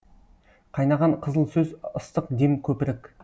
қайнаған қызыл сөз ыстық дем көпірік